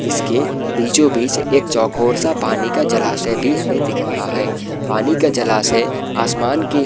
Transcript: जिसके बीचो बीच एक चौकौर सा पानी का जलाशय भी हमे दिख रहा है | पानी का जलाशय आसमान के --